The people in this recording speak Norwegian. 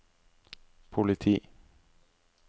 politi